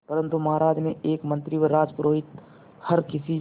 परंतु महाराज के एक मंत्री व राजपुरोहित हर किसी